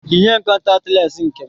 Yinye m, kọntatị lensi nke m